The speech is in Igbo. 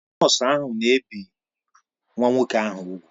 Nọọsụ ahụ na-ebi nwa nwoke ahụ úgwù